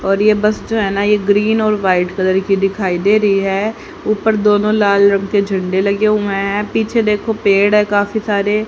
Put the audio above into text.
और ये बस जो है ना ये ग्रीन और वाइट कलर की दिखाई दे रही है ऊपर दोनो लाल रंग के झंडे लगे हुए है पीछे देखो पेड़ है काफी सारे--